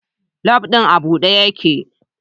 Labu din a bude yake